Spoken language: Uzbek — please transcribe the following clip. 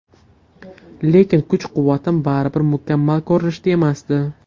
Lekin kuch-quvvatim baribir mukammal ko‘rinishda emasdi.